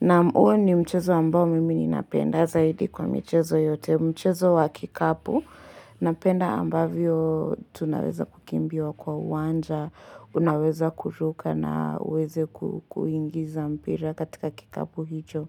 Naam huo ni mchezo ambao mimi ninapenda zaidi kwa michezo yote. Mchezo wa kikapo, napenda ambavyo tunaweza kukimbia kwa uwanja, unaweza kuruka na uweze kuingiza mpira katika kikapu hicho.